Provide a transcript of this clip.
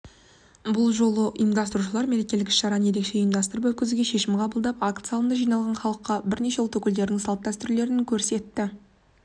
бұл жолы ұйымдастырушылар мерекелік іс-шараны ерекше ұйымдастырып өткізуге шешім қабылдады акт залында жиналған халыққа бірнеше ұлт өкілдерінің салт-дәстүрлері көрсетілді